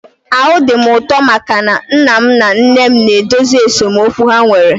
Ahụ dị m ụtọ maka na nna m na nne m na-edozi esemokwu ha nwere